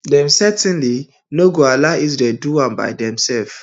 dem certainly no go allow israelis do am by themselves